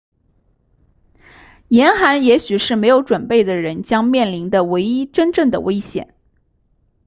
严寒也许是没有准备的人将面临的唯一真正的危险